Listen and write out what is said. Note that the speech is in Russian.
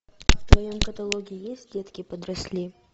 в твоем каталоге есть детки подросли